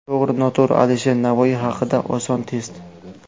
To‘g‘ri-noto‘g‘ri: Alisher Navoiy haqida oson test.